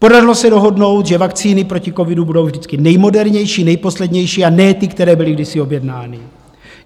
Povedlo se dohodnout, že vakcíny proti covidu budou vždycky nejmodernější, nejposlednější, a ne ty, které byly kdysi objednány.